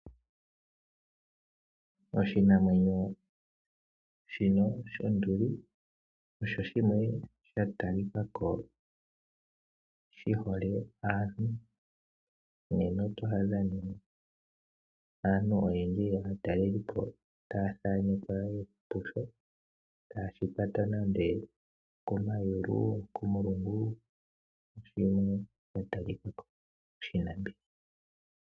Oshinamwenyo shino shonduli osho shimwe sha talikako shi hole aantu nena oto adha ne aantu oyendji yaatalelipo ta thanekwa yeli pusho taye shi kwata nande okomayulu, nokomulungu.